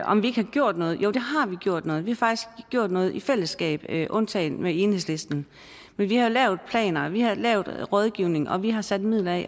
om vi ikke har gjort noget jo vi har gjort noget vi har faktisk gjort noget i fællesskab undtagen med enhedslisten vi har lavet planer vi har lavet rådgivning og vi har sat midler af